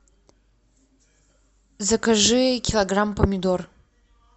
закажи килограмм помидор